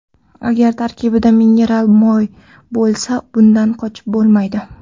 Agar tarkibida mineral moy bo‘lsa, bundan qochib bo‘lmaydi.